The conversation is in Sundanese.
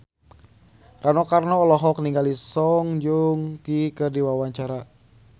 Rano Karno olohok ningali Song Joong Ki keur diwawancara